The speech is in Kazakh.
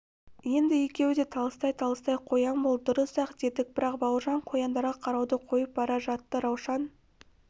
енді екеуі де талыстай-талыстай қоян болды дұрыс-ақ дедік бірақ бауыржан қояндарға қарауды қойып бара жатты раушан